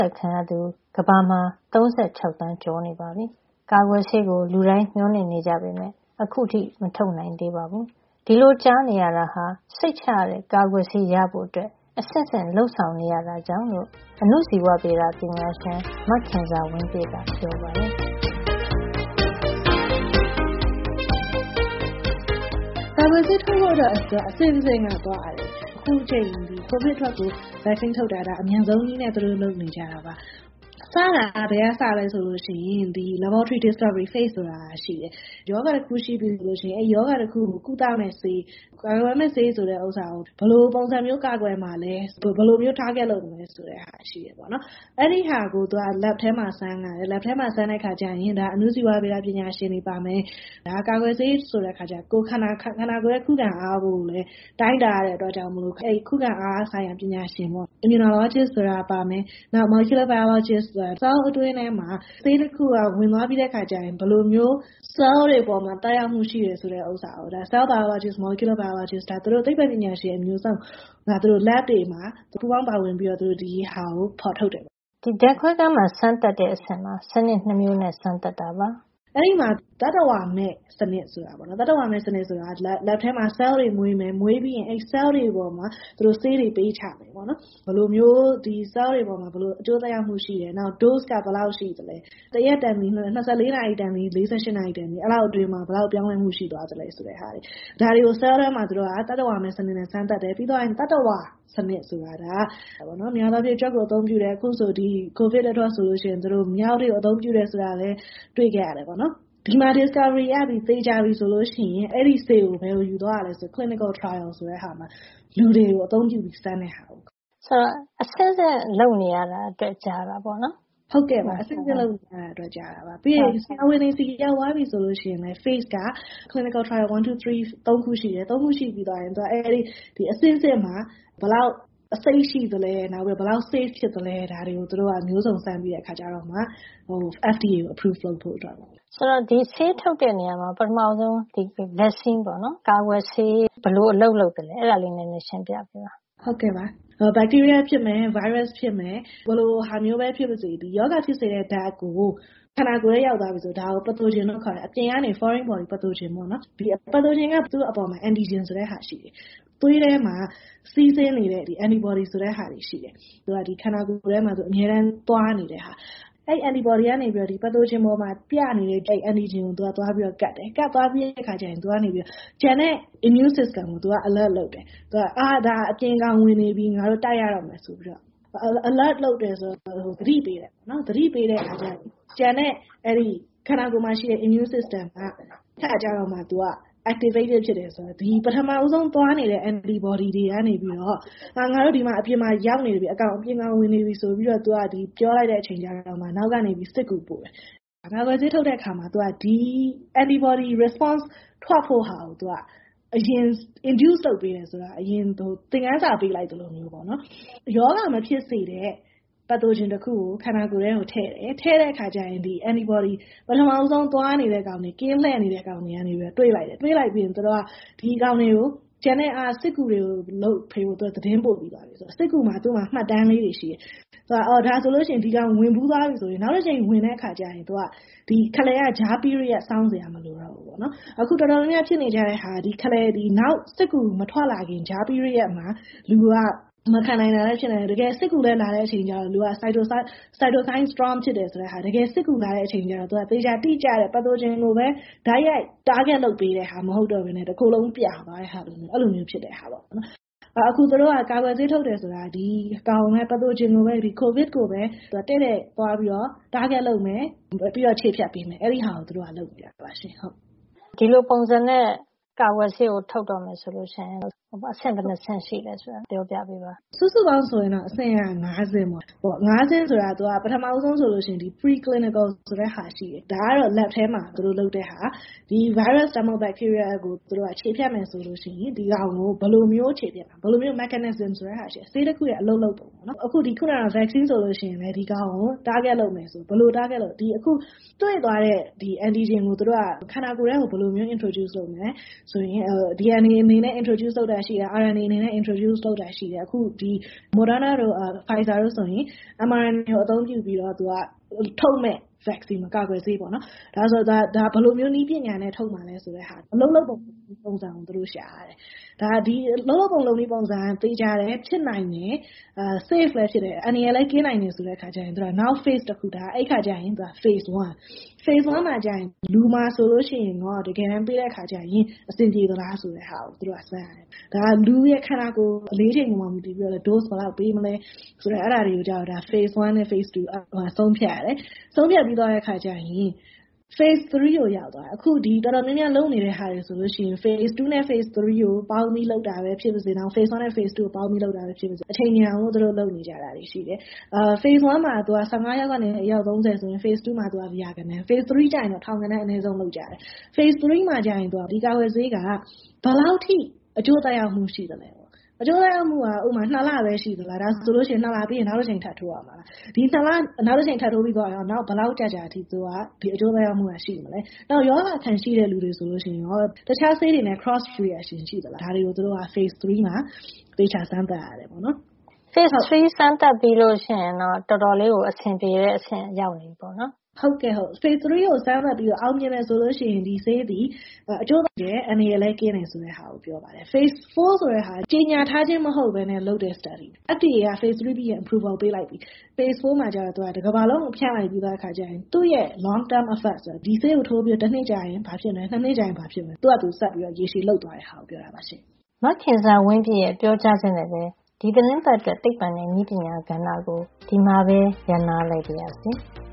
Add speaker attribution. Speaker 1: က်ခံရသူဟာကမ္ဘာမှာ ၃၆ သန်းကျော်နေပြီမို့ ကာကွယ်ဆေးကို လူတိုင်း မေ ျှာ်လင့်နေကြပေမယ့် ခုထိ မထုတ်နိုင်သေးပါဘူး။ ဒီလိုကြာနေရတာဟာ စိတ်ချရတဲ့ ကာကွယ်ဆေးရဖို့ အဆင့်ဆင့် လုပ်ဆောင်နေရတာကြောင့်လို့ အဏုဇီဝဗေဒ ပညာရှင် မခင်ဇာဝင်းပြည့်က ပြောပါတယ်။
Speaker 2: “ကာကွယ်ဆေးထုတ်တာက အဆင့်ဆင့်နဲ့ သွားရတယ်။ အခုအချိန် ကိုဗစ်အတွက် ကာကွယ်ဆေးထုတ်တာက အမြန်ဆုံးနည်းနဲ့ သူတို့ လုပ်နေကြတာပါ။ စတာက ဘယ်ကစသလဲ ဆိုရင် laboratory discovery stage ဆိုတာရှိတယ်။ ရောဂါတခု ရှိပြီဆိုရင် အဲဒီရောဂါကို ကုသမယ့်ဆေး၊ ကာကွယ်မယ့်ဆေး ဆိုတာကို ဘယ်လိုပုံစံမျိုး ကာကွယ်မှာလဲ၊ ဘယ်လို ပစ်မှတ်ထား target လုပ်မှာလဲ ဆိုတာ ရှိတယ်။ အဲဒီဟာကို lab ထဲမှာ စမ်းတဲ့အခါ ကျရင် အဏုဇီဝဗေဒ ပညာရှင်တွေပါမယ်၊ ဒါက ကာကွယ်ဆေး ဆိုတဲ့အခါ ကျတော့ ခန္ဓာကိုယ်ရဲ့ ခုခံအား ကိုလည်း တိုင်းတာရတဲ့ အတွက်ကြောင့် ခုခံအားဆိုင်ရာ ပညာရှင် Immunologist တွေပါမယ်၊ နောက် microbiologist ဆိုတာပါမယယ်။ ဆဲလ် တခုအတွင်းမှာ ဆေးတခုက ဝင်သွားပြီဆိုရင် ဆဲလ်တွေ အပေါ်မှာ ဘယ်လိုမျိုး သက်ရောက်မှုရှိတယ်ဆိုတာ Cellbiologist တွေ Molecular biologist ဆိုတဲ့ သိပ္ပွံပညာရှင် အမျိုးမျိုးက ဓါတ်ခွဲခန်းတွေမှာ ပူးပေါင်း ပါဝင်ပြီးတော့ ဒါကို သူတို့ ဖေါ်ထုတ်တယ်ပေါ့နော်။ ”
Speaker 1: ဒီ laboratory discovery stage မှာ စံနစ် ၂ မျိုးနဲ့ စမ်းသပ်ပါတယ်။
Speaker 2: “အဲဒီမှာ သတ္တဝါမဲ့ စံနစ် ဆိုတာရှိတယ်။ အဲဒီသတ္တဝါမဲ့ စံနစ်ဆိုတာက ဓါတ်ခွဲခန်းထဲမှာ ဆဲလ် တွေကိုမွေးမယ်၊ မွေးပြီးရင် အဲဒီ ဆဲလ်တွေ ပေါ်မှာ ဆေးတွေ ပေးချတာ ပေါ့နော်။ ဘယ်လိုမျိုး ဒီဆဲလ်တွေပေါ်မှာ အကျိုး သက်ရောက်မှု ရှိတယ်၊ နောက် dose က ဆေးပမာဏက ဘယ်လောက်ရှိသလဲ၊ ဆေးအချင်းချင်း နှိုင်းယှဉ်တဲ့ဟာမျိုးတွေ၊ နောက် အချိန် တရက်တန်သည် ၂ ရက်တန်သည် အတွင်းမှာ ဘယ်လောက် ပြောင်းလဲမှုရှိလဲဆိုတာ၊ ဒါတွေကို သူတို့က ဆဲလ်ထဲမှာ သတ္တဝါမဲ့ စံနစ်နဲ့စမ်းသပ်တယ်။ ပြီးသွားရင် သတ္တဝါနဲ့ စမ်းတယ်။ များသောအားဖြင့် ကြွက်ကို အသုံးပြုတယ်။ အခု ကိုဗစ်အတွက် ဆို မျောက်တွေကို သုံးခဲ့တယ်ဆိုတာကိုလည်း တွေ့ခဲ့ရတယ်။ ဒီမှာ discovery တွေ့ရှိမှုက သေချာပြီ ဆိုလို့ရှိရင် အဲဒီဆေးကို ဘယ်ယူသွားရလဲ ဆိုတော့၊ clinical trial ဆိုတာ လူတွေကို အသုံးပြုပြီးတော့ စမ်းတဲ့ဟာပေါ့။”
Speaker 3: “ဆိုတော့ အဆင့်ဆင့် လုပ်နေရတာ အတွက် ကြတာ ပေါ့နော်။”
Speaker 2: “ဟုတ်ပါတယ်။ လူတွေနဲ့ စမ်းတဲ့ အဆင့်ရောက်သွားပြီ ဆိုရင်လည်း အဆင့်က clinical trial 1- 2- 3 သုံးခုရှိတယ်။ အဆင့်ဆင့်မှာ. ဘယ်လောက် အဆိပ်ရှိသလဲ၊ ဘယ်လောက် စိတ်ချရသလဲ ဆိုတာတွေကို မျိုးစုံစမ်းပြီးတော့မှ FDA က အတည်ပြုဖို့ လုပ်ပါတယ်။”
Speaker 3: “ဆေးထုတ်တဲ့နေရာမှာ ဒီကာကွယ်ဆေး ဘယ်လို အလုပ်လုပ်သလဲ ဆိုတာ ပြောပြပေးပါ။”
Speaker 2: “အများပြည်သူ နားလည်အောင် ပြောရရင်တော့ ရောဂါ ဖြစ်စေတဲ့ ဓါတ်ပေါ့နော်။ ဘက်တီးရီးယား ဖြစ်မယ်၊ ဗိုင်းရပ်စ်ဖြစ်မယ်။ ဘယ်လိုဟာမျိုးပဲ ဖြစ်ပစေ ဒီရောဂါဖြစ်စေတဲ့ဓါတ် ခန္ဓာကိုယ်ထဲ ရောက်သွားပြီ ဆိုရင် ဒါက pathogen လို့ ခေါ်တယ်။ အပြင်ကကောင်တွေ foreign ကောင်တွေကို pathogen ပေါ့နော်။အဲဒီ pathogen က အပေါ်မှာ antigen ဆိုတာရှိတယ်။ သွေးထဲမှာတော့ စီးဆင်းနေတဲ့ antibody လို့ခေါ်တဲ့ဟာ ရှိတယ်။ သူက ခန္ဓာကိုယ်ထဲမှာ အမြဲတမ်း သွားနေတဲ့ဟာ ပေါ့နော်။ အဲဒီ antibody က ပက်သိုဂျင်ပေါ်မှာ ပြနေတဲ့ antigen ကိုသွားပြီးတော့ ကပ်တယ်။ အဲဒီလို ကပ်သွားပြီးရင် သူက ကျန်တဲ့ immune system ကိုယ်ခံအားစံနစ်ကို သူက သွားပြီးတော့ alert လုပ်တယ်။ သတိပေးတယ်။ အဲဒါက အပြင်ကောင် ဝင်နေပြီ ငါတို့ တိုက်ရတော့မယ် ဆိုပြီးတော့။ alert လုပ်တယ်။ ဆိုတာက သတိပေးတာ ပေါ့နော်။ အဲဒီလို သတိပေးတဲ့ အခါ ကျတော့ ကျန်တဲ့ ခန္ဓာကိုယ်မှာ ရှိတဲ့ immune system ကိုယ်ခံအားစံနစ်က အဲဒီအခါကျတော့မှ activate ဖြစ်တယ်။ အဲဒါက ဘာလဲဆိုတော့ ခန္ဓာကိုယ်မှာ ပထမဆုံးသွားနေတဲ့ antibody တွေကနေ ပြီးတော့၊ ငါတို့.အပြင်မှာအကောင် ရောက်နေပြီ။ အကောင် အပြင်မှာ ဝင်နေပြီ ဆိုပြီးတော့ သူက ပြောလိုက်တဲ့ အချိန်မှာ အနောက်ကနေပြီးတော့ စစ်ကူပို့တယ်။ ဆိုတော့ ကာကွယ်ဆေး ထုတ်တဲ့ နေရာမှာ ကြည့်ရင်. - သူက ဒီ antibody တုန့်ပြန်မှု respond ထွက်လာဖို့ သူက အရင် induce လုပ်ပေးတယ်။ အရင် သင်္ခန်းစာပေးတဲ့ သဘောမျိုး ပေါ့နော်။ ရောဂါ မဖြစ်စေတဲ့ ပက်သိုဂျင် တခုကို ခန္ဓာကိုယ်ထဲကို ထည့်တယ်။ ထည့်တဲ့ အခါကျရင် antibodyပထမဆုံး သွားနေတဲ့ကောင်တွေ၊ ကင်းလှည့်နေတဲ့အကောင်တွေကနေ တွေ့လိုက်တယ်။ တွေ့လိုက် ပြီးရင် သူက ကျန်တဲ့ စစ်သည်တွေကို ဒီအကောင်တွေကို တိုက်ဖို့ သတင်းပို့ပေးတာပေါ့။ ဒီစစ်သည်မှာက မှတ်တမ်းလေးတွေ ရှိတယ်။ ဒီအကောင် ဝင်ဘူးသွားပြီ ဆိုရင် နောက်တကြိမ် ဝင်တဲ့ အခါ ခလယ်က ကြား period စောင့်စရာ မလိုတော့ဘူး ပေါ့နော်။ အခု တော်တော်များများ ဖြစ်နေတဲ့ ဟာက ခလယ်၊ ဒီနောက်စစ်သည် ထွက်မလာခင် ကြား period မှာ လူတွေက မခံနိုင်တာလည်း ဖြစ်နိုင်တယ်။ တကယ်လည်း စစ်ကူလည်း ရောက်လာရော လူက တကယ် တိကျတဲ့ pathogen လိုပဲ သူက တိုက်ရိုက် တားဂက်လုပ် ပေးတာမျိုး မဟုတ်တော့ ပဲနဲ့ တကိုယ်လုံး ပြာသွားတာမျိုး ဖြစ်တာပေါ့နော်။ အခု ကာကွယ်ဆေး ထုတ်တယ် ဆိုတာ သူတို့က ကိုဗစ် ကိုပဲတဲ့တဲ့ သွားပြီး တားဂက် လုပ်မယ်။ ပြီးတော့ ခြေဖျက် ပေးမယ်။ အဲဒီဟာကို သူတို့က လုပ်တာပါ။”
Speaker 3: ဒီလိုပုံစံနဲ့ ဆေးထုတ်ဖို့ လုပ်မယ် ဆိုရင် အဆင့် ဘယ်နှစ်ဆင့် ရှိပါလဲ။
Speaker 2: “စုစုပေါင်းဆိုရင်တော့ အဆင့်က ၅ ဆင့် ပေါ့။ ပထမဆုံး ဆိုရင် သူက pre clinical ဆိုတဲ့ဟာ ရှိတယ်။ ဒါကတော့ ဓါတ်ခွဲခန်းထဲမှာ lab ထဲမှာ လုပ်တဲ့ဟာ။ ဒီဗိုင်းရပ် ဒါမှမဟုတ် ဒီ ဘက်တီးရီးယား ကို ခြေဖျက်မယ် ဆိုရင် ဒီဟာကို ဘယ်လိုမျိုး ခြေဖျက်မလဲ။ ဘယ်လို mechanism လဲ ဆိုတာရှိတယ်။ field တခုရဲ့ အလုပ်လုပ်ပုံ။ အခု ဒီထွက်လာတဲ့ ကာကွယ်ဆေး vaccine ဆိုရင်လည်း ဒီကောင်ကို target လုပ်မယ် ပစ်မှတ်ထားကြည့်မယ်ဆိုရင် တွေ့သွားတဲ့. Antigen ကို သူတို့က ဒီခန္ဓာကိုယ်ထဲ ကိုဘယ်လို introduce လုပ်မလဲ။ DNA အနေနဲ့ introduce လုပ်တာရှိတယ်။ RNA အနေနဲ့ introduce လုပ်တာရှိတယ်။ အခု ဒီ ထုတ်မယ့် Moderna တို့ Pfizer တို့ဆိုရင် M- RNA ကို သုံးပြုပြီးတော့ ထုတ်မယ့် ကာကွယ်ဆေးပေါ့နော်။. ဒါ ကို ဘယ်လိုမျိုး နည်းပညာနဲ့ ထုတ်မှာလဲ ဆိုတာ အလုပ်လုပ်တဲ့ ပုံစံကို သူတို့ ရှာရတယ်။ ဒီအလုပ်လုပ်ပုံ လုပ်နည်း ပုံစံက ဖြစ်နိုင်တယ်။ သေ ချာတယ်။ အန္တရာယ်လည်း ကင်းတယ်ဆိုလိုရှိရင် နောက် အဆင့်တခု အဲဒါကျရင် သူက phase 1. အဲဒီ phase 1 မှာ ကျရင် လူမှာ ဆိုလိုရှင်ကော တကယ်တမ်း တွေ့တဲ့ အခါ ကျရင် အဆင်ပြေမလား ဆိုတဲ့ဟာကို သူတို့က စမ်းရတယ်။ ဒါက လူ့ရဲ့ ခန္ဓာကိုယ် အလေးချိန်ပေါ်မှာ မူတည်ပြီးတော့လည်း dose ဘယ်လောက် ပေးမလဲလိုမျိုး အဲဒါတွေ ကျရင် သူက phase 1 – phase 2 မှာ ဆုံးဖြတ်ရတယ်။ အဲဒါ ဆုံးဖြတ်ပြီးရင် phase 3 ကို ရောက်သွားတယ်။အခုဒီ တော်တော်များများ လုပ်နေတဲ့ ဟာတွေ ဆိုလို့ရှိရင် phase 2 နဲ့ 3 ကို ပေါင်းပြီး လုပ်တာပဲ ဖြစ်စေ။ phase 1 နဲ့ phase 2 ကို ပေါင်းပြီး လုပ်တာပဲ ဖြစ်စေ။ အချိန်မြန်အောင် သူတို့ ပေါင်းပြီး လုပ်နေတာတွေ ရှိတယ်။ phase 1 မှာ ၁၅ ယောက်ကနေ အယောက် ၃၀ ဆိုရင် phase 2 မှာ သူက ရာဂဏန်း။ phase 3 မှာ တော့ ထောင်ဂဏန်း အနဲဆုံး လုပ်ကြတယ်။ phase 3 မှာကျရင် ဒီကာကွယ်ဆေးက ဘယ်လောက်အထိ အကျိုး သက်ရောက်မှု ရှိသလဲ။ ဥပမာ - အကျိုးသက်ရောက်မှုက ၂ လပဲ ရှိမလား။ ဒါဆို ၂ လပြီးရင် နောက်တကြိမ် ထပ်ထိုးရမလား။ ဒီ ၂ လ နောက်တကြိမ် ထပ်ထိုးပြီး သွားရင်ကော နောက်ဘယ် ဘယ်လောက် ကြာကြာ အထိ ဒီအကျိုး သက်ရောက်မှု ရှိသလဲ။ နောက် ရောဂါ အခံ ရှိတဲ့ လူတွေဆိုရင်ကော၊ ဒီတခြား ဆေးတွေနဲ့ cross reaction ရှိသလား ။ ဒါတွေကို phase 3 မှာ သေသေချာချာ စမ်းသပ်ရတယ် ပေါ့နော်။
Speaker 3: “ phase 3 စမ်းသပ်ပြီးရင်တော့ တော်တော်လေးကို အဆင်ပြေတဲ့ အဆင့် ရောက်နေပြီပေါ့။
Speaker 2: “ဟုတ်ကဲ့။ Phase 3 ကို စမ်းသပ်ပြီး တော့ အောင်မြင်တယ် ဆိုရင် ဒီဆေးသည် အကျိုးသက်ရောက်မှုလည်း ရှိတယ်။ အန္တရာယ်လည်း ကင်းတယ်ဆိုတာကို ပြောပါတယ်။ phase 4 ဆိုတဲ့ဟာက ကြေညာထားခြင်း မဟုတ်ပဲနဲ့ လုပ်တဲ့ study လေ့လာမှုပေါ့။ FDA က phase 3 ပြီးရင် Approval ပေးလိုက်ပြီ။ phase 4 မှာကျတော့ တကမ္ဘာလုံးကို ဖြန့်လိုက်ပြီးသား ဖြစ်တဲ့ အတွက် သူ့ရဲ့ long term effect ရေရှည် အကျိုး သက်ရောက်မှုပေါ့။ ဒီဆေးကို ထိုးလိုက်ပြီးလို့ တနှစ်ကြာရင် ဘာဖြစ်မလဲ။ ၂ နှစ်ကြာရင် ဘာဖြစ်မလဲ။ သူ့ဟာသူ ဆက်ပြီးတော့ ရေရှည် လုပ်သွားတဲ့ ဟာကို ပြောတာပါရှင့်။”
Speaker 1: မခင်ဇာဝင်းပြည့်ရဲ့ ပြောကြားချက်နဲ့ပ ဒီသီတင်ပတ်အတွက် သိပ္ပံနဲ့နည်းပညာ. ကဏ္ဍကို ဒီမှာပဲ ရပ်နားလိုက်ပါရစေ။